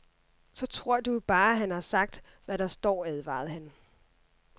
Så tror du jo bare, han har sagt, hvad der står, advarede han.